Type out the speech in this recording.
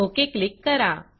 okay click करा